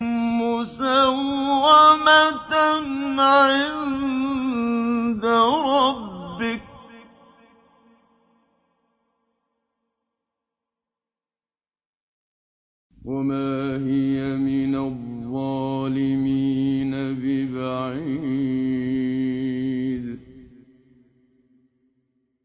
مُّسَوَّمَةً عِندَ رَبِّكَ ۖ وَمَا هِيَ مِنَ الظَّالِمِينَ بِبَعِيدٍ